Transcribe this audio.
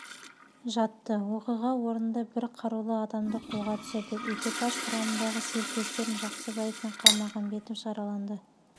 жатты оқиға орнында бір қарулы адамды қолға түсірдік экипаж құрамындағы серіктестерім жақсыбаев пен қалмағамбетов жараланды